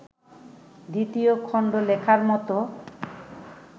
দ্বিতীয় খণ্ড লেখার মতো